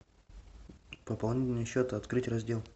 пополнение счета открыть раздел